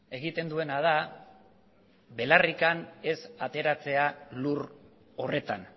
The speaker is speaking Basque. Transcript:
egiten duena da belarrik ez ateratzea lur horretan